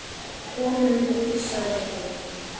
Komum út, sagði hún.